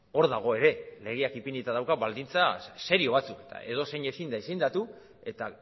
hor dago ere legeak ipinita dauka baldintza serio batzuk eta edozein ezin da izendatu eta